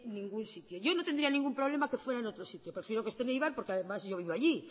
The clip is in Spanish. ningún sitio yo no tendría ningún problema que fuera en otro sitio prefiero que esté en eibar porque además yo vivo allí